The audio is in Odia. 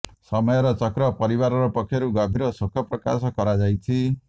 ସମୟର ଚକ୍ର ପରିବାର ପକ୍ଷରୁ ଗଭୀର ଶୋକ ପ୍ରକାଶ କରାଯାଇଛି